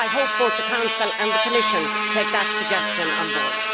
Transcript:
I hope both the Council and the Commission will take that suggestion on board.